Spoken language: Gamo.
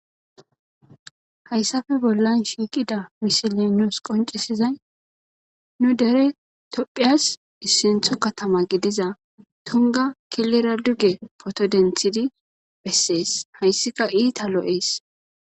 Hayssafe bollan shiiqida misili nuus qoncisizay nu dere tophiyas issintho katama gidiza tunga kilera duge poto denthidi bessees hayssika iita lo'ees.